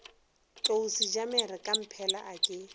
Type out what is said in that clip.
tlou sejamere kamphela a ke